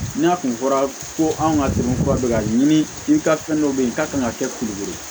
N'a kun fɔra ko anw ka dɔnko kura bɛ ka ɲini i ka fɛn dɔ bɛ yen i ka kan ka kɛ kulugu ye